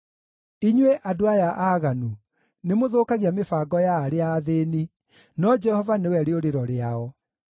Inyuĩ andũ aya aaganu nĩmũthũkagia mĩbango ya arĩa athĩĩni, no Jehova nĩwe rĩũrĩro rĩao.